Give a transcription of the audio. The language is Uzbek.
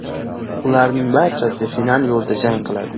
Ularning barchasi final yo‘lida jang qiladi.